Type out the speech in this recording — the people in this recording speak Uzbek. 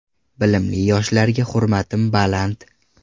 Bilimli yoshlarga hurmatim baland.